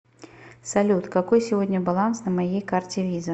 салют какой сегодня баланс на моей карте виза